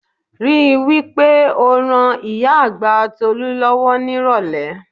Rí i wí pé o ran ìyá àgbà Tolú lọ́wọ́ nírọ̀lẹ́